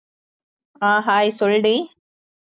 அஹ் hi சொல்லுடி